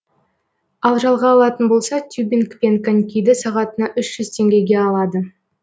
ал жалға алатын болса тюбинг пен конькиді сағатына үш жүз теңгеге алады